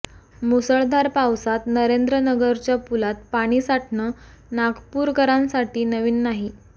मुसळधार पावसात नरेंद्र नगरच्या पुलात पाणी साठणं नागपूरकरांसाठी नवीन नाही